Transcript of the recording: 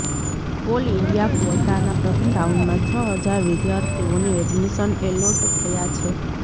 all India ક્વોટાના પ્રથમ રાઉન્ડમાં છ હજાર વિદ્યાર્થીઓને એડમિશન એલોટ થયા છે